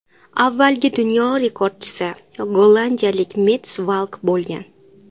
Avvalgi dunyo rekordchisi gollandiyalik Mets Valk bo‘lgan.